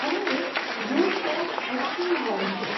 અને એક 'Rose Camp Extreme World' છે.